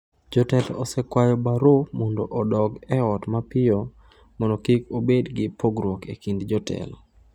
Jotelo osekwayo Barrow mondo odok e ot mapiyo mondo kik obed gi pogruok e kind jotelo.